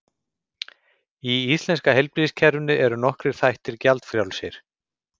Í íslenska heilbrigðiskerfinu eru nokkrir þættir gjaldfrjálsir.